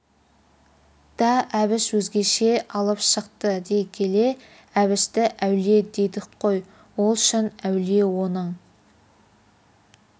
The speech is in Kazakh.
да әбіш өзгеше алып шықты дей келе әбішті әулие дедік қой ол шын әулие оның